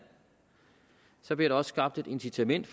så bliver der også skabt et incitament